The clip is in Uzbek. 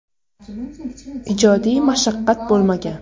Ijodiy mashaqqat bo‘lmagan.